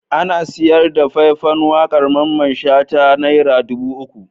Ana sayar da fai-fan waƙar Mamman Shata naira dubu uku.